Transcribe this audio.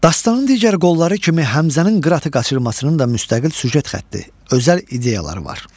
Dastanın digər qolları kimi, Həmzənin qıratı qaçırmasının da müstəqil süjet xətti, özəl ideyaları var.